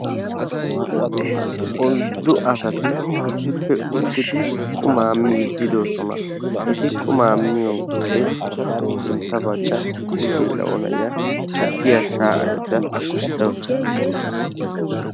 Oyddu asati issippe uttidi qumaa miiddi de"oosona. Eti qumaa miyode etappe sintta baggan issi geela"o na"iya tukkiya shaayyayidda de"awus.